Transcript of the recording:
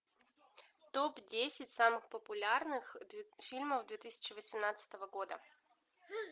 топ десять самых популярных фильмов две тысячи восемнадцатого года